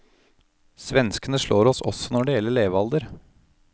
Svenskene slår oss også når det gjelder levealder.